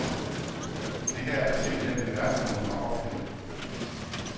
Det her er simpelt hen det værste, hun har oplevet.